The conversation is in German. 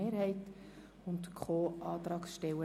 Verletzung Aufgabenteilungsgrundsätze [FILAG]).